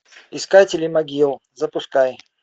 искатели могил запускай